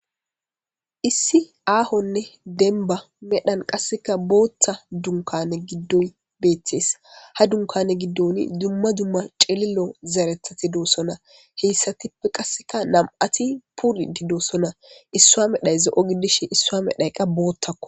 Issi aahonne denba medhan qasseka booththa dunkane giddon beetes ha dunkane giddoni dumma dumma cililo zarethati doossona heyssatippe qasseka nam'ati puri di doosona issua medhay ze'o giddishe issaa medhayqa boottakko.